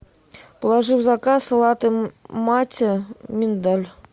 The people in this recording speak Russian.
положи в заказ латте маття миндаль